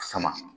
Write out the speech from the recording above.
Sama